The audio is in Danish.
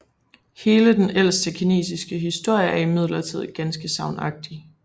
Hele denne ældste kinesiske historie er imidlertid ganske sagnagtig